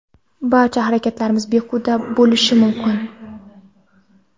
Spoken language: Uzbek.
barcha harakatlarimiz behuda bo‘lishi mumkin.